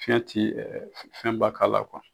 Fiɲɛ ti ɛ ɛfɛnba k'a la kuwa